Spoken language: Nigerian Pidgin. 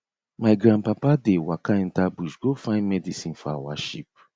my grandpapa dey waka enter bush go find medicine for our sheep